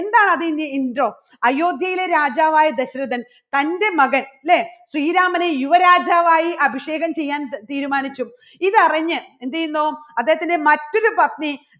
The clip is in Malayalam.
എന്താ അതിന്റെ intro അയോധ്യയിലെ രാജാവായ ദശരഥൻ തന്റെ മകൻ അല്ലേ ശ്രീരാമനെ യുവ രാജാവായി അഭിഷേകം ചെയ്യാൻ തീരുമാനിച്ചു. ഇതറിഞ്ഞ് എന്ത് ചെയ്യുന്നു അദ്ദേഹത്തിൻറെ മറ്റൊരു പത്നി